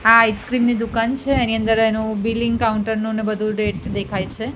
આ આઈસ્ક્રીમ ની દુકાન છે એની અંદર એનું બિલિંગ કાઉન્ટર ને બધું દેખાય છે.